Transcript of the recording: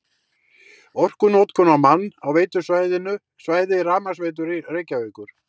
Orkunotkun á mann á veitusvæði Rafmagnsveitu Reykjavíkur